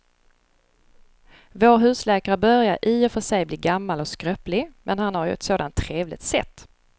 Vår husläkare börjar i och för sig bli gammal och skröplig, men han har ju ett sådant trevligt sätt!